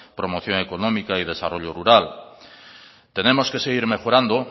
promoción económica y desarrollo rural tenemos que seguir mejorando